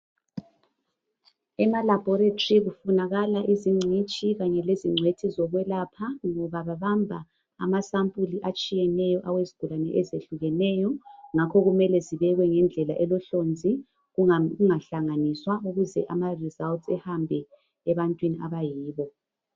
Emalaboratory kufunakala izingcitshi kanye lezingcwethi zokwelapha ngoba babamba amasampuli atshiyeneyo awezigulane ezehlukeneyo ngakho kumele zibekwe ngendlela elohlonzi kungahlanganiswa ukuze imiphumela ihambe ebantwini abayibo.